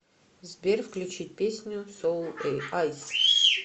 сбер включить песню соул айс